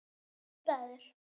Þú ræður.